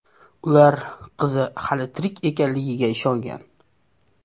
Ular qizi hali tirik ekanligiga ishongan.